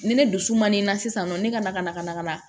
Ni ne dusu man di n na sisan nɔ ne ka na ka na ka na ka na